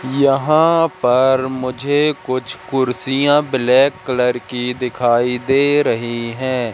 यहां पर मुझे कुछ कुर्सियां ब्लैक कलर की दिखाई दे रही है।